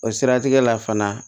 O siratigɛ la fana